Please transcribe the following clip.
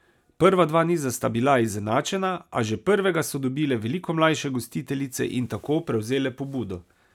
Prva dva niza sta bila izenačena, a že prvega so dobile veliko mlajše gostiteljice in tako prevzele pobudo.